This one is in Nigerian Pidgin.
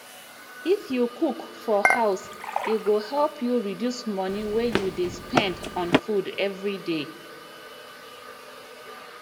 if you cook for house e go help you reduce money wey you dey spend on food everyday